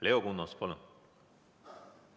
Leo Kunnas, palun!